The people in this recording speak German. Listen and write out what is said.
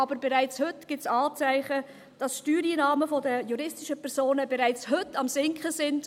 Aber es gibt bereits heute Anzeichen, dass die Steuereinnahmen der juristischen Personen am Sinken sind.